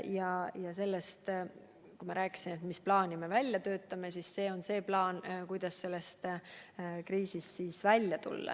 Kui me oleme rääkinud, mis plaani me välja töötame, siis me peame silmas plaani, kuidas sellest kriisist välja tulla.